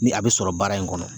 Ni a be sɔrɔ baara in kɔnɔ.